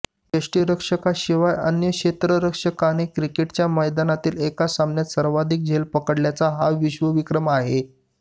यष्टीरक्षकाशिवाय अन्य क्षेत्ररक्षकाने क्रिकेटच्या मैदानातील एका सामन्यात सर्वाधिक झेल पकड्याचा हा विश्वविक्रम आहे